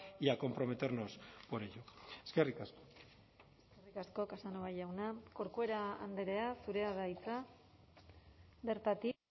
y a comprometernos por ello eskerrik asko eskerrik asko casanova jauna corcuera andrea zurea da hitza bertatik